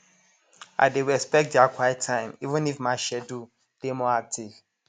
i dey respect dia quiet time even if my schedule dey more active